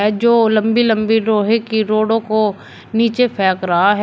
जो लंबी लंबी लोहे के रोडों को नीचे फेंक रहा है।